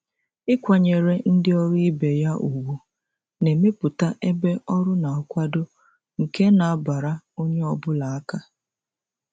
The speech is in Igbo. ịkwanyere ndị ọrụ ibe ya ùgwù na-emepụta ebe ọrụ na-akwado nke na-abara onye ọ bụla aka.